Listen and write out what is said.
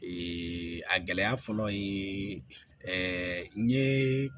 a gɛlɛya fɔlɔ ye ɛɛ n ye